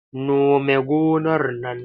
Nome gonar nan!